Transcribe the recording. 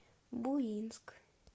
буинск